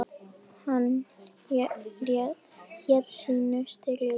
Hann hélt sínu striki.